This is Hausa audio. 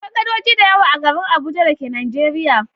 Akwai gadoji da yawa a garin Abuja da ke Nijeriya.